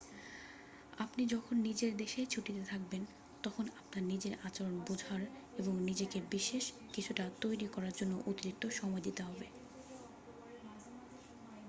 আপনি যখন নিজের দেশেই ছুটিতে থাকবেন তখন আপনার নিজের আচরণ বোঝার এবং নিজেকে বিশেষ কিছুটা তৈরি করার জন্য অতিরিক্ত সময় দিতে হবে